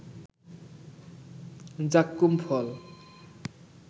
যাক্কুম ফল